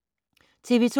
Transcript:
TV 2